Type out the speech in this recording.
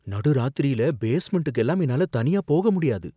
நடு ராத்திரில பேஸ்மெண்டுக்கு எல்லாம் என்னால தனியா போக முடியாது